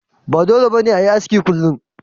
Ba dole ne ba a yi aski kullum.